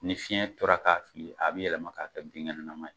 Ni fiɲɛ tora k'a fili, a bɛ yɛlɛma k'a ka binkɛnɛnanam ye.